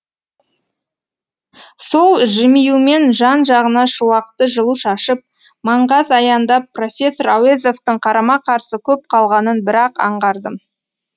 сол жымиюмен жан жағына шуақты жылу шашып маңғаз аяндап профессор әуезовтің қарама қарсы көп қалғанын бір ақ аңғардым